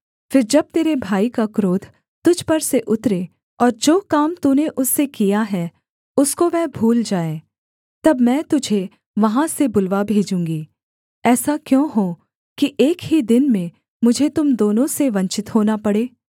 फिर जब तेरे भाई का क्रोध तुझ पर से उतरे और जो काम तूने उससे किया है उसको वह भूल जाए तब मैं तुझे वहाँ से बुलवा भेजूँगी ऐसा क्यों हो कि एक ही दिन में मुझे तुम दोनों से वंचित होना पड़े